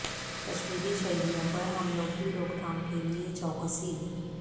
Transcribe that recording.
کشمیری شہریوں پر حملوں کی روک تھام کیلئے چوکسی